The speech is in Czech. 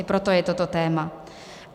I proto je toto téma.